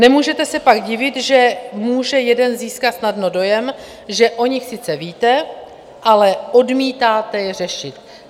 Nemůžete se pak divit, že může jeden získat snadno dojem, že o nich sice víte, ale odmítáte je řešit.